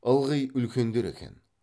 ылғи үлкендер екен